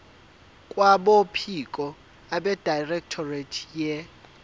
kwabophiko abedirectorate ye